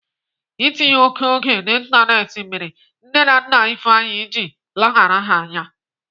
Itinye oké oge n'Ịntanetị mere nne na nna Ifeanyi ji leghara ha anya.